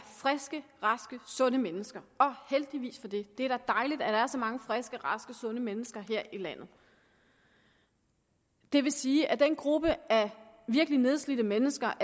friske raske sunde mennesker heldigvis for det det er da dejligt at der er så mange friske raske sunde mennesker her i landet det vil sige at den gruppe af virkelig nedslidte mennesker